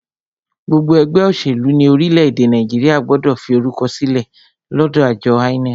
Gbogbo ẹgbẹ́ òṣèlú ní orílẹ̀-èdè Nàìjíríà gbọ́dọ̀ fi orúkọ sílẹ̀ lọ́dọ àjọ INEC.